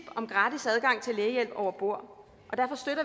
om gratis adgang til lægehjælp over bord